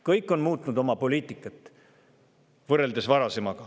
Kõik on muutnud oma poliitikat võrreldes varasemaga.